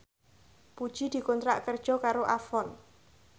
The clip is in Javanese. Puji dikontrak kerja karo Avon